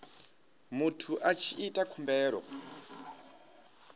muthu a tshi ita khumbelo